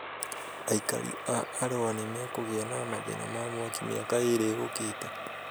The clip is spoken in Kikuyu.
Aikari a Arũa nĩ makũgĩa na mathĩna ma mwaki mĩaka ĩĩrĩ yũkĩte